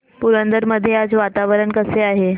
पुरंदर मध्ये आज वातावरण कसे आहे